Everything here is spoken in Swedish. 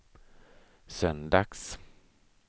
söndags